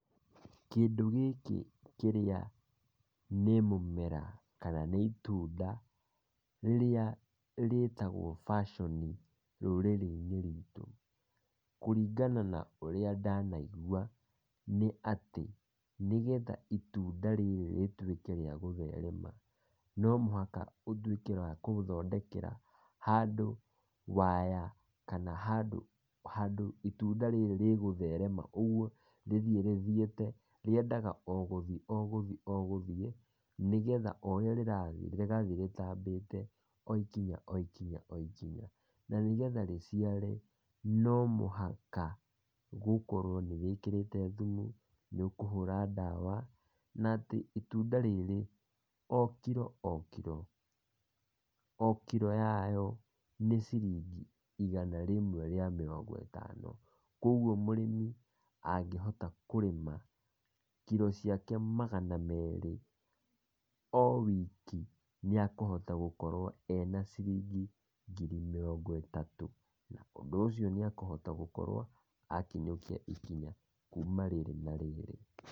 Kĩndũ gĩkĩ kĩrĩa nĩ mũmera kana nĩ itunda, rĩrĩa rĩtagwo baconi, rũrĩrĩ-inĩ rwitũ. Kũringana na ũrĩa ndanaigua nĩ atĩ, nĩgetha itunda rĩrĩ rĩtuĩke rĩa gũtherema no mũhaka ũtuĩke wa kũthondekera handũ wire kana handũ itunda rĩrĩ rĩgũtherema, rithiĩ rĩthiĩte, rĩendaga o gũthĩ o gũthĩ, nĩgetha o ũrĩa rĩrathiĩ rĩgathiĩ rĩtambĩte o ikinya okinya o ikinya, na nĩgetha rĩciare, no mũhaka gũkorwo nĩ wĩkĩrĩte thumu, nĩ ũkũhũra ndawa na atĩ itunda rĩrĩ, o kĩro o kĩro, o kiro yayo nĩ ciringi igana rĩmwe rĩa mĩrongo ĩtano, kwoguo mũrĩmi angĩhota kũrĩma kiro ciake magana merĩ, o wiki nĩekũhota gũkorwo ena ciringi ngiri mĩrongo ĩtatu na ũndũ ũcio nĩ egukorwo akinyũkia ikinya rĩrĩ na rĩrĩ.